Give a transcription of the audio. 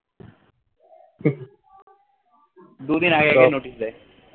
দুই দিন আগে notice দেয়